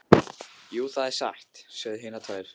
Jú, það er satt, sögðu hinar tvær.